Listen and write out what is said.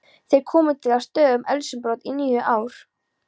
Þeir komu til af stöðugum eldsumbrotum í níu ár.